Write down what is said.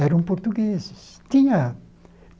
Eram portugueses. Tinha